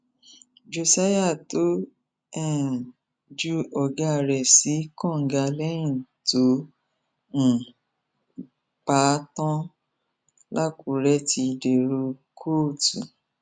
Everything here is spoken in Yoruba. josiah tó um ju ọgá rẹ sí kànga lẹyìn tó um pa á tán lakunure ti dèrò kóòtù